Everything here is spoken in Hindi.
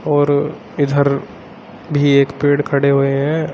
और इधर भी एक पेड़ खड़े हुए हैं।